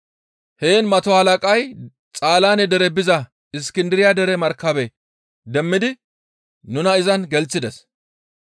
Heen mato halaqay Xaalaane dere biza Iskindiriya dere markabe demmidi nuna izan gelththides.